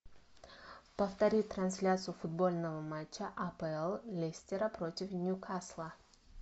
повтори трансляцию футбольного матча апл лестера против ньюкасла